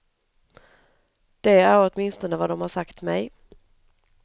Det är åtminstone vad de har sagt mig.